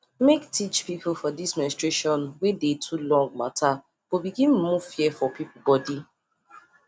make teach people for this menstration wey dey too long matter go begin remove fear for people body